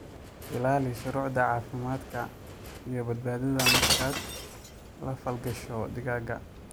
Ilaali shuruucda caafimaadka iyo badbaadada markaad la falgasho digaagga.